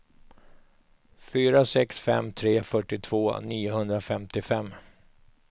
fyra sex fem tre fyrtiotvå niohundrafemtiofem